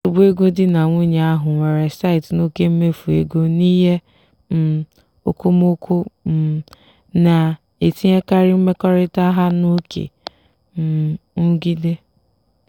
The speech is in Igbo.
nsogbu ego di na nwunye ahụ nwere site n'oke mmefu ego n'ihe um okomoko um na-etinyekarị mmekọrịta ha n'oké um nrụgide.